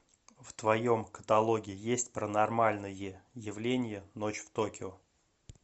в твоем каталоге есть паранормальное явление ночь в токио